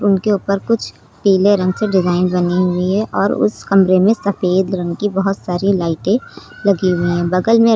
उनके ऊपर कुछ पीले रंग से डिजाइन बनी हुई है और उस कमरे में सफेद रंग की बहुत सारी लाइटें लगी हुई हैं बगल में--